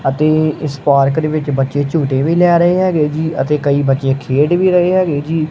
ਅਤੇ ਇਸ ਪਾਰਕ ਵਿੱਚ ਬੱਚੇ ਝੂਠੇ ਵੀ ਲੈ ਰਹੇ ਹੈਗੇ ਜੀ ਅਤੇ ਕਈ ਬੱਚੇ ਖੇਡ ਵੀ ਰਹੇ ਹੈਗੇ ਜੀ।